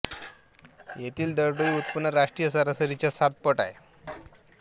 येथील दरडोई उत्पन्न राष्ट्रीय सरासरीच्या सात पट आहे